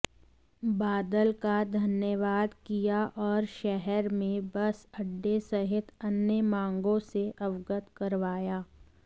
बादल का धन्यवाद किया और शहर में बस अड्डे सहित अन्य मांगों से अवगत करवाया